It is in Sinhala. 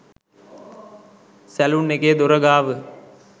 සැළුන් එකේ දොර ගාව.